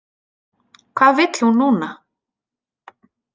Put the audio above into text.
Hvað vill hún núna?